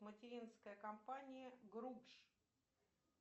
материнская компания групш